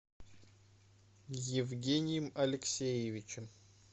евгением алексеевичем